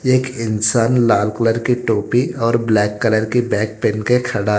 एक इंसान लाल कलर की टोपी और ब्लैक कलर की बैग पेहन के खड़ा--